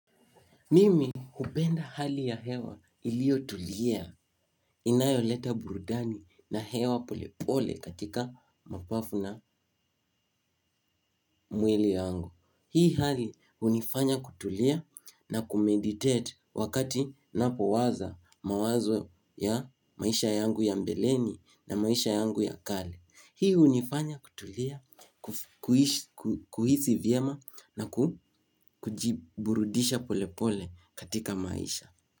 Mimi hupenda hali ya hewa iliotulia inayoleta burudani na hewa pole pole katika mapafu na mwili wangu. Hii hali hunifanya kutulia na kumeditate wakati napowaza mawazo ya maisha yangu ya mbeleni na maisha yangu ya kale. Hii hunifanya kutulia, kuhisi vyema na kujiburudisha pole pole katika maisha.